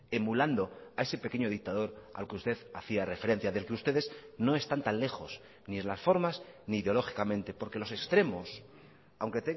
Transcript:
emulando a ese pequeño dictador al que usted hacía referencia del que ustedes no están tan lejos ni en las formas ni ideológicamente porque los extremos aunque